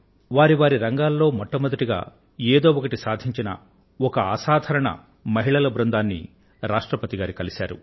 వారి వారి రంగాలలో మొట్టమొదటగా ఏదో ఒకటి సాధించిన ఒక అసాధారణ మహిళల బృందంతో రాష్ట్రపతి గారు భేటీ అయ్యారు